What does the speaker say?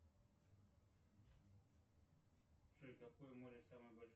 джой какое море самое большое